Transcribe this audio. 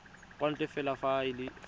kwa ntle fela fa e